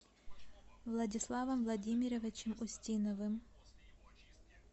владиславом владимировичем устиновым